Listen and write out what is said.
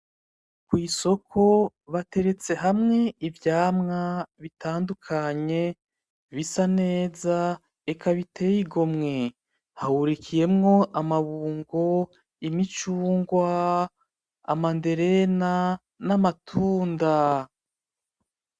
Kw'isoko bateretse hamwe ivyamwa bitandukanye bisa neza eka biteye igomwe. hahurikiyemwo amabungo, imicungwa, amanderena n'amatunda.